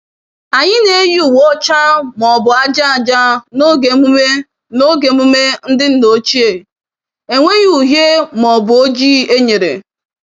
Anyị na-eyi uwe ọcha ma ọ bụ aja aja n'oge emume n'oge emume ndị nna ochie - enweghị uhie ma ọ bụ oji enyere.